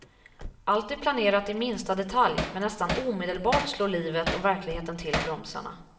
Allt är planerat i minsta detalj, men nästan omedelbart slår livet och verkligheten till bromsarna.